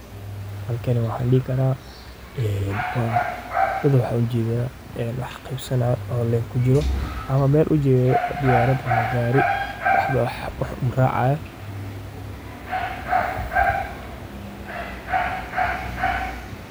Shaqo bixintu waa hab muhiim ah oo bulshada dhexdeeda lagu xoojiyo dhaqaalaha iyo horumarka, iyadoo loo marayo helidda shaqooyin ku habboon xirfadaha iyo aqoonta shaqaalaha. Marka shirkad ama hay’ad ay shaqo bixiso, waxay hubisaa in shaqaalaha la qoro ay si buuxda u fahmaan waajibaadka iyo mas’uuliyadaha la xiriira shaqada.